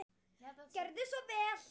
Gjörðu svo vel.